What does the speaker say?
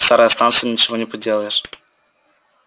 старая станция ничего не поделаешь